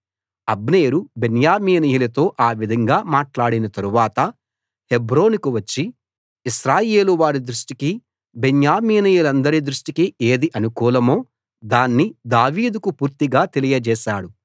అబ్నేరు బెన్యామీనీయులతో ఆ విధంగా మాట్లాడిన తరువాత హెబ్రోనుకు వచ్చి ఇశ్రాయేలువారి దృష్టికి బెన్యామీనీయులందరి దృష్టికి ఏది అనుకూలమో దాన్ని దావీదుకు పూర్తిగా తెలియచేశాడు